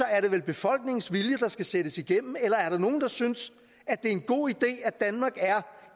er det vel befolkningens vilje der skal sættes igennem eller er der nogle der synes at det er en god